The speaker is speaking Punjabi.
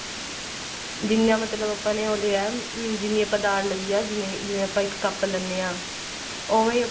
ਜਿਵੇਂ ਮਤਲਬ ਆਪਾਂ ਨੇ ਉਹ ਲਿਆ ਜਿੰਨੀ ਆਪਾਂ ਦਾਲ ਲਈ ਐ ਜਿਵੇਂ ਆਪਾਂ ਇੱਕ ਕੱਪ ਲੇਣੇ ਆ ਉਹ ਵੀ